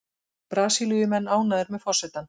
Brasilíumenn ánægðir með forsetann